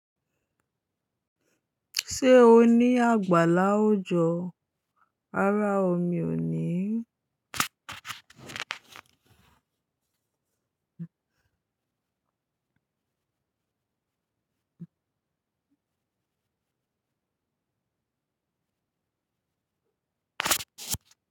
Ṣé o ní àgbàlá òòjọ́? Rárá o, mi ò ní.